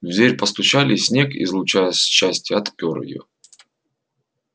в дверь постучали и снегг излучая счастье отпер её